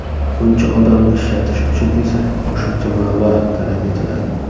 Buncha odamni ishlatish uchun esa qo‘shimcha mablag‘ talab etiladi.